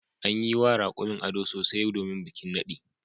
An yi wa raƙumin ado sosai domin bikin naɗi.